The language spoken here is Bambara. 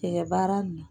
Cɛkɛ baara nin